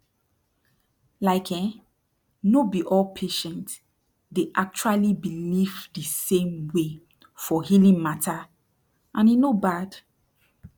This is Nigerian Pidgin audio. like eh no be all patient dey actuali believe de same way for healing mata and e no bad